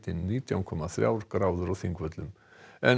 nítján komma þrjár gráður á Þingvöllum en